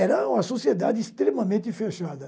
Era uma sociedade extremamente fechada.